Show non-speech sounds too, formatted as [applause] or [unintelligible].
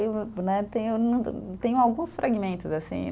Eu né, tenho, [unintelligible] tenho alguns fragmentos, assim.